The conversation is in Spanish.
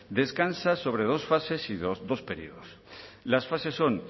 descansa sobre dos fases y dos periodos las fases son